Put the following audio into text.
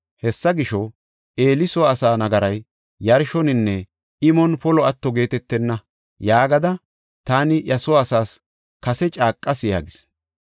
Hessa gisho, ‘Eeli soo asaa nagaray yarshoninne imon polo atto geetetenna’ yaagada taani iya soo asaas kase caaqas” yaagis.